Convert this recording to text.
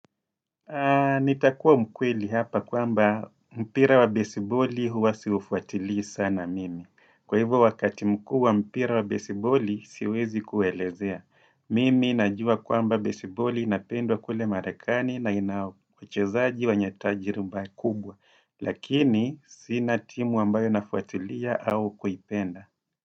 Nitakua mkweli hapa kwamba mpira wa besiboli huwa siufuatili sana mimi. Kwa hivyo wakati mkuu wa mpira wa besiboli siwezi kuelezea. Mimi najua kwamba besiboli inapendwa kule marekani na ina uchezaji wenye tajriba kubwa. Lakini sina timu ambayo nafuatilia au kuipenda.